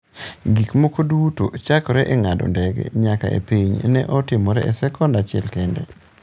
Gik moko duto, chakre e ng’ado ndege nyaka e piny, ne otimore e sekon achiel kende.